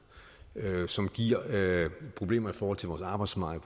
som giver problemer i forhold til vores arbejdsmarked